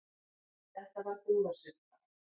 Þetta var búðarsulta.